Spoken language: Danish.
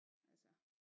Altså